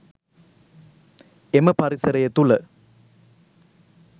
එම පරිසරය තුළ